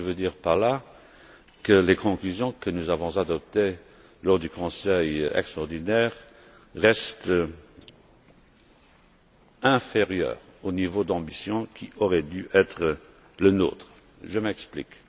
Je veux dire par là que les conclusions que nous avons adoptées lors du Conseil extraordinaire restent inférieures au niveau d'ambition qui aurait dû être le nôtre. Je m'explique.